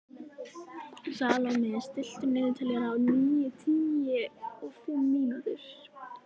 Salome, stilltu niðurteljara á níutíu og fimm mínútur.